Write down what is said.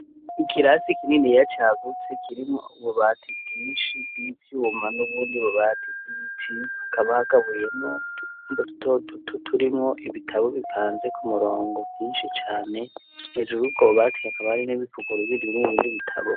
Ikirasi kinini ya cagutse kirimwo ububati bwinshi bw'ivyouuma n'ubundi bubati bwbiti hakaba hagabuyemo mbo dutoduto turimwo ibitabo bipanze ku murongo vyinshi cane hejuru ubwobubatiye akabari n'ibipuko ruibiri bimwe bindi bitabo.